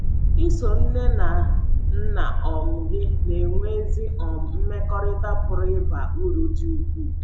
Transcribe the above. Iso nne na nna um gị na - enwe ezi um mmekọrịta pụrụ ịba uru dị ukwuu.